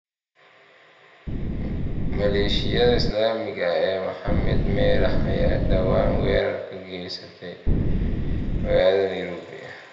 Maleeshiyada Islaamiga ah ee Maxamed Merah ayaa dhawaan weerar ka geystay magaalada Nairobi.